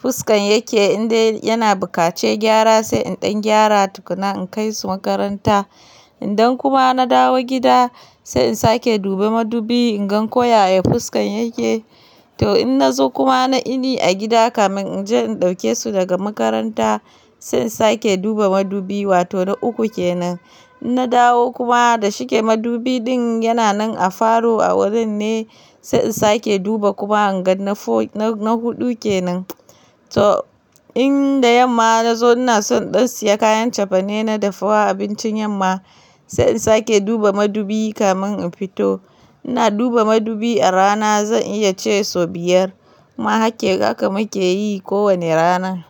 fuskan yake. In dai dai kamar ina so in fita kamar da safe, in na gama shiri ma yarana kamin in kai su makaranta sai na duba madubi in gan ko yaya fuskan yake. In dan kuma na dawo gida sai in sake duba madubi in gan ko yaya fuskan yake. To in na zo kuma na ini a gida kamar in je in ɗauke su daga makaranta sai in sake duba madubi wato na uku kenan. In na dawo kuma da shike madubi din yana nan a falo a wurin ne sai in sake duba kuma hanga na fo-na-na huɗu kenan. To in da yamma na zo ina son in ɗan siya kayan cefane na dafa wa abincin yamma sai in sake duba madubi kamar in fito. Ina duba madubi a rana zan iya ce sau biyar kuma haka muke yi kowane rana.